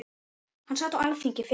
Hann sat á Alþingi fyrir